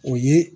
O ye